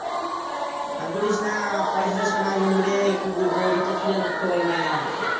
আর বলিসনা। পয়সা টয়সা নাই বন্ধুরে কি বলবো recharge ফ্রীচার্জ মারতে পারিনা।